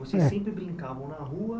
Vocês É sempre brincavam na rua.